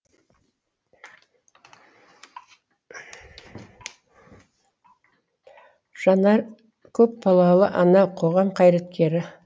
жанар көпбалалы ана қоғам қайраткері